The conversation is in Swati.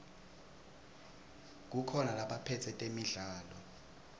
kukhona labaphetse temidlalo